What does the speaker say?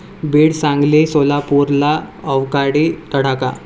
बीड, सांगली, सोलापूरला अवकाळी तडाखा